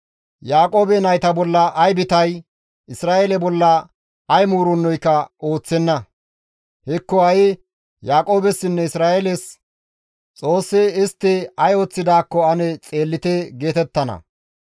Yaaqoobe nayta bolla ay bitay, Isra7eele bolla ay muurennoyka ooththenna; hekko ha7i Yaaqoobessinne Isra7eeles, ‹Xoossi istti ay ooththidaakko ane xeellite!› geetettana.